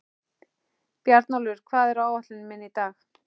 Bjarnólfur, hvað er á áætluninni minni í dag?